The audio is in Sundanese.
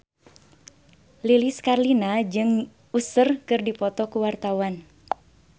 Lilis Karlina jeung Usher keur dipoto ku wartawan